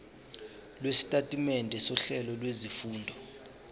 lwesitatimende sohlelo lwezifundo